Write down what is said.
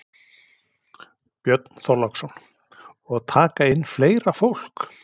Björn Þorláksson: Og taka inn fleira fólk?